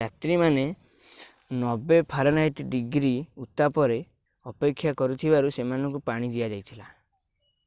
ଯାତ୍ରୀମାନେ 90f-ଡିଗ୍ରୀ ଉତ୍ତାପରେ ଅପେକ୍ଷା କରିଥିବାରୁ ସେମାନଙ୍କୁ ପାଣି ଦିଆଯାଇଥିଲା।